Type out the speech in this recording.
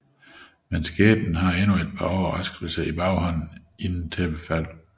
Men skæbnen har endnu et par overraskelser i baghånden inden tæppefald